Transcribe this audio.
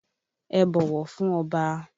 Ẹ bọ̀wọ̀ fún Ọba!